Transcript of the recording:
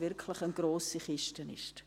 – wirklich eine grosse Kiste ist.